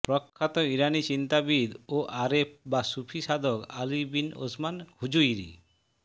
প্রখ্যাত ইরানি চিন্তাবিদ ও আরেফ বা সুফি সাধক আলী বিন ওসমান হুযুইরি